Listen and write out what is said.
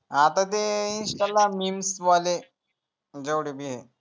आता ते insta ला memes वाले जेव्हडेबी ए